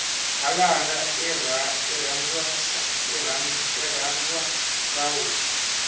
khalanga irhandzwa soul